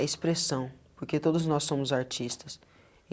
É expressão, porque todos nós somos artistas.